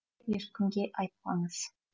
ешкімге айтпаңыз